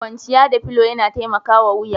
Kwanciya da filo yana taimakawa wuya.